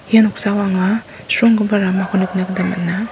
ia noksao anga sronggipa ramako nikna gita man·a.